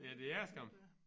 Ja det er det skam